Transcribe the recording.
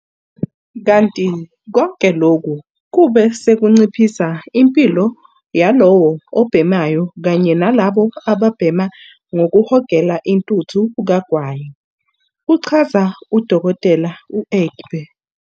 Kanti konke lokhu kube sekunciphisa impilo yalowo obhemayo kanye nalabo ababhema ngokuhogela intuthu kagwayi, kuchaza u-Dkt. u-Egbe.